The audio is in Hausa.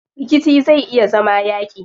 Rikici zai iya zama yaaƙi.